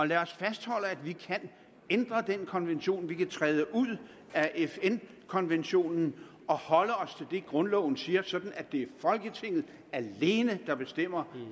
lad os fastholde at vi kan ændre den konvention vi kan træde ud af fn konventionen og holde os det grundloven siger sådan at det er folketinget alene der bestemmer